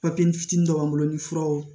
Papiye fitinin b'an bolo ni furaw